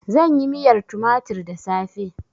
Zan yi miyar tumatir da safe.